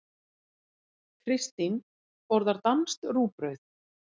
Kristín borðar danskt rúgbrauð.